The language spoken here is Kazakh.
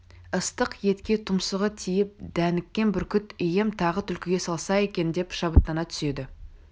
ыстық етке тұмсығы тиіп дәніккен бүркіт ием тағы түлкіге салса екен деп шабыттана түседі